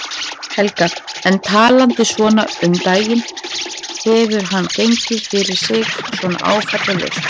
Helga: En talandi svona um daginn, hefur hann gengið fyrir sig svona áfallalaust?